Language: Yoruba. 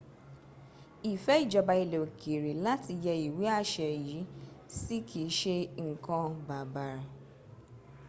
ìfẹ́ ìjọba ilẹ̀ òkèrè láti yẹ́ ìwé àṣẹ yìí sí kìí ṣe nǹkan bàbàr